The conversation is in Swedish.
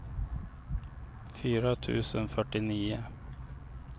fyra tusen fyrtionio